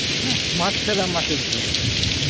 হ্যাঁ মাছ ছাড়া মাছের ঝোল.